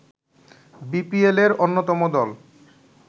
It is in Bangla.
বিপিএলের অন্যতম দল